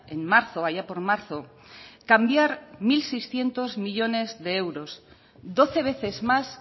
en marzo allá por marzo cambiar mil seiscientos millónes de euros doce veces más